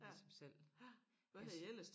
Ligesom selv altså